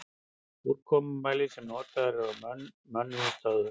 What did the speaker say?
Úrkomumælir sem notaður er á mönnuðum stöðvum.